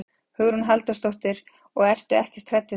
Hugrún Halldórsdóttir: Og ertu ekkert hrædd við það?